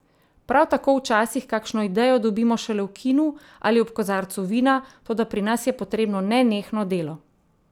Prav tako včasih kakšno idejo dobimo šele v kinu ali ob kozarcu vina, toda pri nas je potrebno nenehno delo.